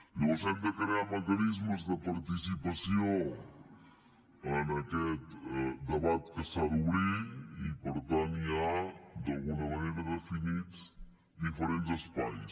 llavors hem de crear mecanismes de participació en aquest debat que s’ha d’obrir i per tant hi ha d’alguna manera definits diferents espais